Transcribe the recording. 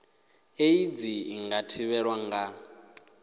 aids i nga thivhelwa nga